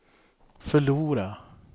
förlora